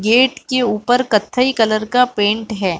Gate के ऊपर कत्थई कलर का पेंट है।